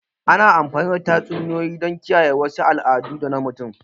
Ana amfani da tatsuniyoyi don kiyaye wasu al'adu na mutan da